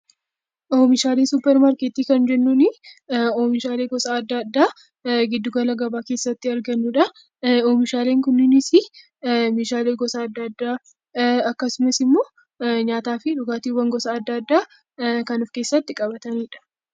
Oomishaalee suupparmaarkeetii kan jennuun oomishaalee gosa adda addaa giddu gala gabaa keessatti argannudha. Oomishaaleen kunneenis meeshaalee gosa adda addaa akkasumas immoo nyaataa fi dhugaatiiwwan gosa adda addaa kan of keessatti qabatanidha.